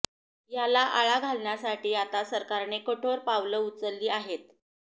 याला आळा घालण्यासाठी आता सरकारने कठोर पावलं उचलली आहेत